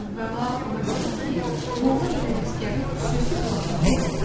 Əvvəla ona görə ki, Molla Mirələşgərin xüsusi bloknotu yoxdur.